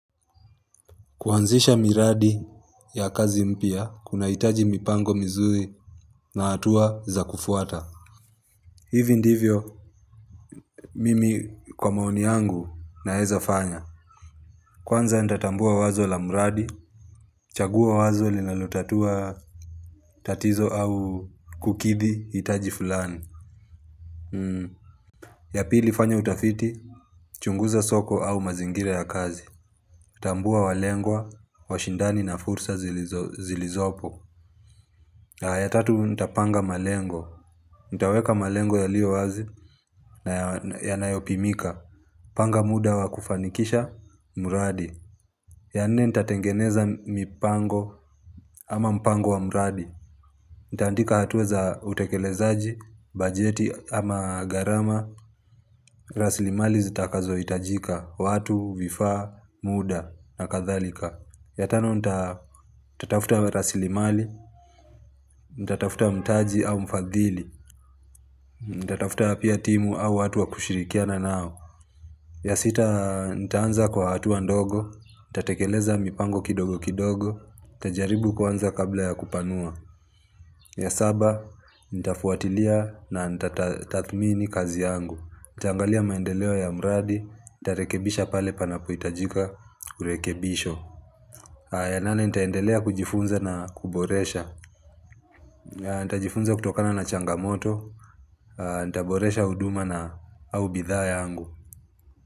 Kuanzisha miradi ya kazi mpya, kunahitaji mipango mizuri na hatua za kufuata. Hivi ndivyo, mimi kwa maoni yangu naeza fanya. Kwanza nitatambua wazo la mradi, chagua wazo linalotatua tatizo au kukidhi hitaji fulani. Ya pili fanya utafiti, chunguza soko au mazingira ya kazi. Tambua walengwa, washindani na fursa zilizopo. Ya tatu nitapanga malengo, nitaweka malengo yaliowazi na yanayopimika Panga muda wa kufanikisha muradi ya nne nitatengeneza mipango ama mpango wa muradi Nitaandika hatua za utekelezaji, bajeti ama gharama rasilimali zitakazo hitajika, watu, vifa, muda na kadhalika ya tano nitatafuta rasilimali, nitatafuta mtaji au mfadhili Nitatafuta pia timu au watu wa kushirikiana nao ya sita nitaanza kwa hatua ndogo nitatekeleza mipango kidogo kidogo nitajaribu kwanza kabla ya kupanua ya saba nitafuatilia na nitatathmini kazi yangu Nitaangalia maendeleo ya mradi Nitarekebisha pale panapohitajika urekebisho ya nane nitaendelea kujifunza na kuboresha Nitajifunza kutokana na changamoto Nitaboresha huduma au bidhaa yangu.